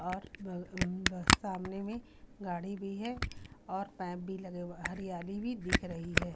और ब अ ब सामने में गाड़ी भी है और पैप भी लगे हरियाली भी दिख रही है।